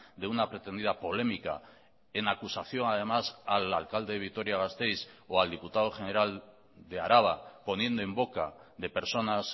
de una pretendida polémica en acusación además al alcalde de vitoria gasteiz o al diputado general de araba poniendo en boca de personas